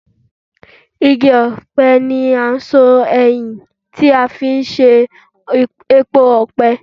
igi ọ̀pẹ ńi o n so eyin tí a fi ń ṣe epo ọ̀pẹ.